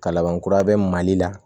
Ka laban kura bɛ mali la